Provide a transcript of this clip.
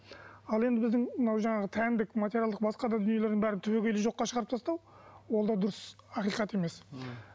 ал енді біздің мынау жаңағы тәндік материалдық басқа да дүниелердің бәрін түбегейлі жоққа шығарып тастау ол да дұрыс ақиқат емес м